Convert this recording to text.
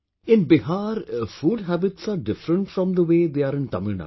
In Bihar food habits are different from the way they are in Tamilnadu